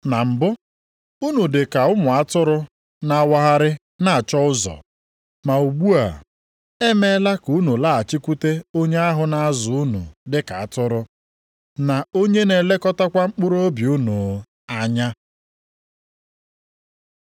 Na mbụ, unu dị ka ụmụ atụrụ na-awagharị na-achọ ụzọ, + 2:25 \+xt Aịz 53:6\+xt* ma ugbu a, e meela ka unu laghachikwute Onye ahụ na-azụ unu dị ka atụrụ, na Onye na-elekọtakwa mkpụrụobi unu anya.